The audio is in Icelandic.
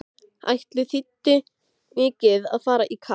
Ætli þýddi mikið að fara í kapp!